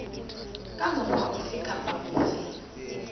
ka mokgwa ofe kapa ofe